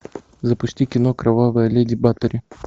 запусти кино кровавая леди батори